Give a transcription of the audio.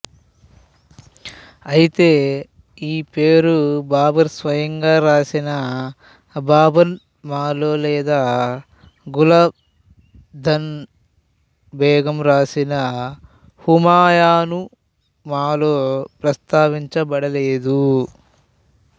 అయితే ఈ పేరు బాబరు స్వయంగా రాసిన బాబర్నామాలో లేదా గుల్బాదను బేగం రాసిన హుమయూనునామాలో ప్రస్తావించబడలేదు